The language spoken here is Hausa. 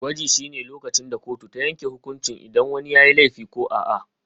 Gwaji shine lokacin da kotu ta yanke hukunci idan wani yayi laifi ko a'a.